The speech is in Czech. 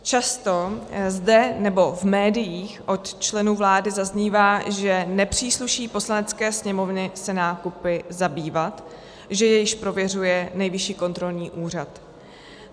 Často zde nebo v médiích od členů vlády zaznívá, že nepřísluší Poslanecké sněmovně se nákupy zabývat, že je již prověřuje Nejvyšší kontrolní úřad.